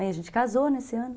Aí a gente casou nesse ano.